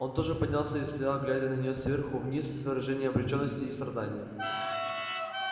он тоже поднялся и стоял глядя на неё сверху вниз с выражением обречённости и страдания